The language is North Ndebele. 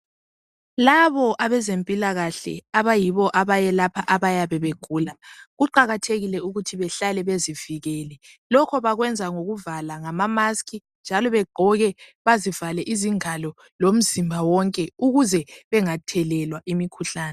Labo ebezempilakahle abayibo abayelapha abayabe begula, kuqakathekile ukuthi behlale bezivikele. Lokho bakwenza ngokuvala ngama mask njalo begqoke bazivale izingalo lomzimba wonke ukuze bengathelelwa imkhuhlan.